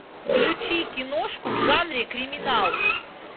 включи киношку в жанре криминал